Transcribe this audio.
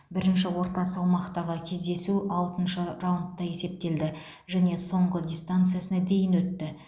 бірінші орта салмақтағы кездесу алтыншы раундқа есептелді және соңғы дистанциясына дейін өтті